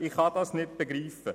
Ich kann es nicht verstehen.